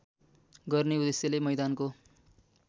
गर्ने उद्देश्यले मैदानको